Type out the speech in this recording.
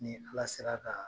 N'i fila sera kaa